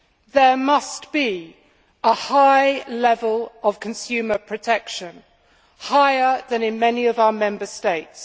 There must be a high level of consumer protection, higher than in many of our Member States.